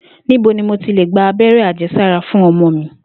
Níbo ni mo ti lè gba abé̩ré̩ àje̩sára fún o̩mo̩ mi?